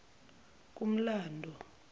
kumlando